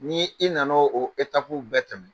Ni i nana o bɛɛ tɛmɛ